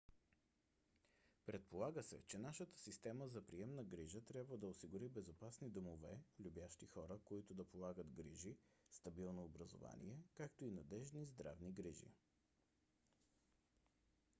предполага се че нашата система за приемна грижа трябва да осигури безопасни домове любящи хора които да полагат грижи стабилно образование както и надеждни здравни грижи